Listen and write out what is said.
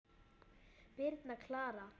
Birna Klara.